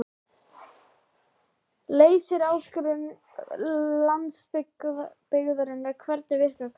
Leysir áskorun landsbyggðarinnar Hvernig virkar Kara?